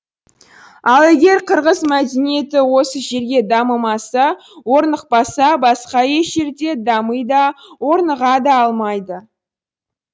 ал егер қырғыз мәдениеті осы жерге дамымаса орнықпаса басқа еш жерде дами да орныға да алмайды